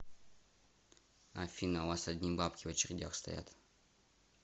афина у вас одни бабки в очередях стоят